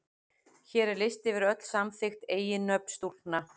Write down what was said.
Hér er listi yfir öll samþykkt eiginnöfn stúlkna.